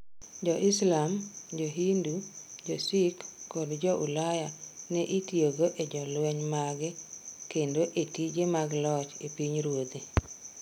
Jo-Islam, Jo-Hindu, Jo-Sikh, kod Jo-Ulaya ne itiyogo e jolweny mage kendo e tije mag loch e pinyruodhe.